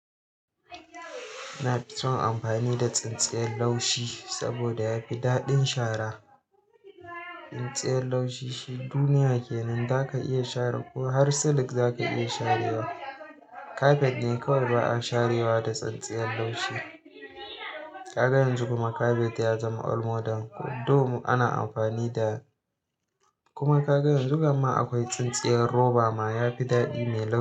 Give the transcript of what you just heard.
Na fi son amfani da tsintsiyar laushi saboda yafi daɗin shara. Tsintsiyar laushi shi duniya ke nan zaka iya share ko har silk zaka iya sharewa. Carpet ne kawai ba a sharewa da tsintsiyar laushi. Kaga yanzu kuma carpet ya zama old model thou ana amfani da kuma kaga yanzu ƙamma akwai tsintsiyar roba ma yafi daɗi me laushi.